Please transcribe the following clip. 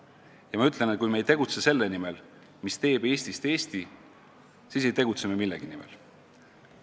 Ja ma ütlen, et kui me ei tegutse selle nimel, mis teeb Eestist Eesti, siis ei tegutse me millegi nimel.